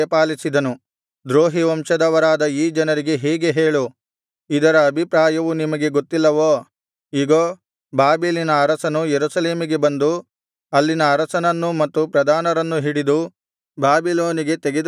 ದ್ರೋಹಿ ವಂಶದವರಾದ ಈ ಜನರಿಗೆ ಹೀಗೆ ಹೇಳು ಇದರ ಅಭಿಪ್ರಾಯವು ನಿಮಗೆ ಗೊತ್ತಿಲ್ಲವೋ ಇಗೋ ಬಾಬೆಲಿನ ಅರಸನು ಯೆರೂಸಲೇಮಿಗೆ ಬಂದು ಅಲ್ಲಿನ ಅರಸನನ್ನೂ ಮತ್ತು ಪ್ರಧಾನರನ್ನೂ ಹಿಡಿದು ಬಾಬಿಲೋನಿಗೆ ತೆಗೆದುಕೊಂಡು ಹೋದನು